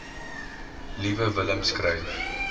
liewe willem skryf